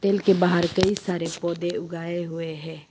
के बाहर कई सारे पौधे उगाए हुए हैं।